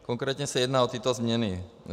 Konkrétně se jedná o tyto změny.